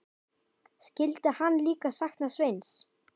Skyldi hann líka sakna Sveins?